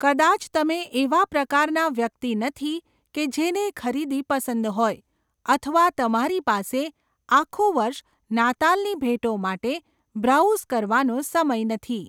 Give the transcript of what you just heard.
કદાચ તમે એવા પ્રકારના વ્યક્તિ નથી કે જેને ખરીદી પસંદ હોય, અથવા તમારી પાસે આખું વર્ષ નાતાલની ભેટો માટે બ્રાઉઝ કરવાનો સમય નથી.